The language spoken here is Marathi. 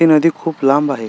ही नदी खुप लांब आहे.